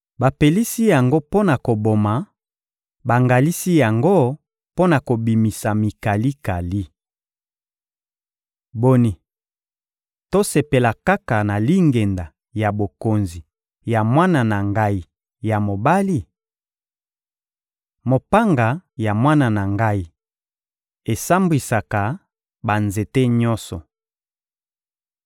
Bapelisi yango mpo na koboma, bangalisi yango mpo na kobimisa mikalikali! Boni, tosepela kaka na lingenda ya bokonzi ya mwana na ngai ya mobali? Mopanga ya mwana na ngai esambwisaka banzete nyonso.